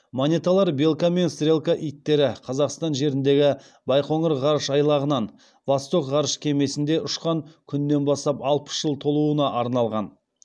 монеталар белка мен стрелка иттері қазақстан жеріндегі байқоңыр ғарыш айлағынан восток ғарыш кемесінде ұшқан күннен бастап алпыс жыл толуына арналған